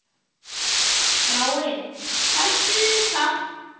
Þráinn, sættu þig við það!